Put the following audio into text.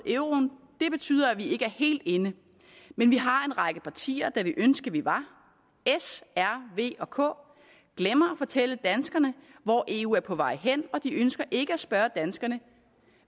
euroen og det betyder at vi ikke er helt inde men vi har en række partier der ville ønske vi var s r v og k glemmer fortælle danskerne hvor eu er på vej hen og de ønsker ikke at spørge danskerne